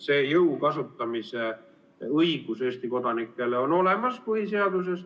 See jõu kasutamise õigus Eesti kodanikel on olemas põhiseaduses.